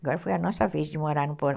Agora foi a nossa vez de morar no porão.